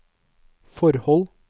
forhold